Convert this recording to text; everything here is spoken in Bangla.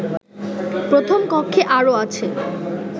প্রথম কক্ষে আরো আছে